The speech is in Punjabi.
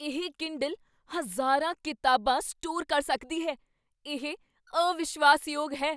ਇਹ ਕੀੰਡਲ ਹਜ਼ਾਰਾਂ ਕਿਤਾਬਾਂ ਸਟੋਰ ਕਰ ਸਕਦੀ ਹੈ। ਇਹ ਅਵਿਸ਼ਵਾਸ਼ਯੋਗ ਹੈ!